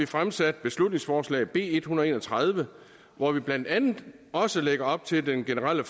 fremsat beslutningsforslag b en hundrede og en og tredive hvori vi blandt andet også lægger op til at den generelle